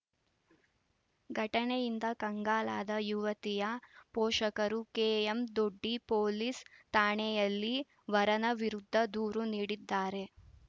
ಘಟನೆಯಿಂದ ಕಂಗಾಲಾದ ಯುವತಿಯ ಪೋಷಕರು ಕೆಎಂದೊಡ್ಡಿ ಪೊಲೀಸ್‌ ಠಾಣೆಯಲ್ಲಿ ವರನ ವಿರುದ್ಧ ದೂರು ನೀಡಿದ್ದಾರೆ